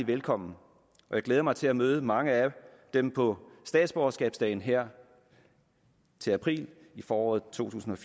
velkommen jeg glæder mig til at møde mange af dem på statsborgerskabsdagen her til april i foråret totusinde